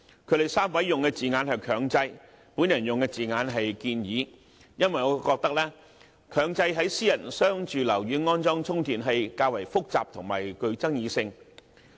他們3位所用的字眼是"強制"，我所用的字眼是"建議"，因為我認為強制在商住樓宇安裝充電器較為複雜和具爭議性。